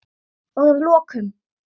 Og að lokum.